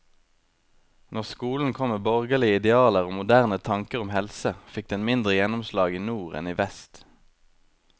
Når skolen kom med borgerlige idealer og moderne tanker om helse, fikk den mindre gjennomslag i nord enn i vest.